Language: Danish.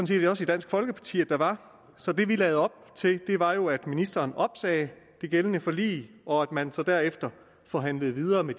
set også i dansk folkeparti at der var så det vi lagde op til var jo at ministeren opsagde det gældende forlig og at man så derefter forhandlede videre med